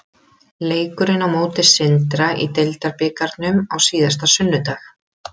Leikurinn á móti Sindra í deildarbikarnum á síðasta sunnudag.